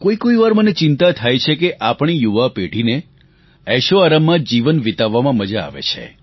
કોઈ કોઈ વાર મને ચિંતા થાય છે કે આપણી યુવા પેઢીને એશોઆરામમાં જ જીવન વિતાવવામાં મજા આવે છે